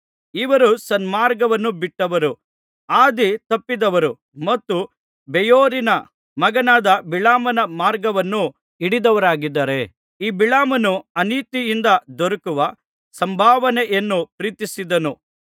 ಇವರು ಸನ್ಮಾರ್ಗವನ್ನು ಬಿಟ್ಟವರು ಹಾದಿ ತಪ್ಪಿದವರು ಮತ್ತು ಬೇಯೋರಿನ ಮಗನಾದ ಬಿಳಾಮನ ಮಾರ್ಗವನ್ನು ಹಿಡಿದವರಾಗಿದ್ದಾರೆ ಈ ಬಿಳಾಮನು ಅನೀತಿಯಿಂದ ದೊರಕುವ ಸಂಭಾವನೆಯನ್ನು ಪ್ರೀತಿಸಿದನು